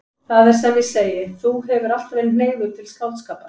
Það er sem ég segi: Þú hefur alltaf verið hneigður til skáldskapar.